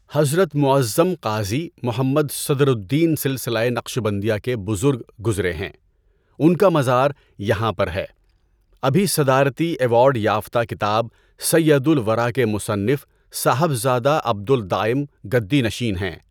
حضرت مُعَظَّم قاضی محمد صدر الدین سلسلۂ نقشبندیہ کے بزرگ گزرے ہیں۔ ان کا مزار یہاں پر ہے۔ ابھی صدارتی ایوارڈ یافتہ کتاب سیدُ الورٰی کے مصنف صاحبزادہ عبد الدائم گدی نشین ہیں۔